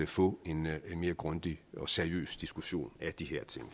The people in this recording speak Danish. få en mere grundig og seriøs diskussion af de her ting